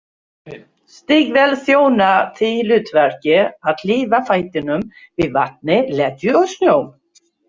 Stígvél þjóna því hlutverki að hlífa fætinum við vatni, leðju og snjó.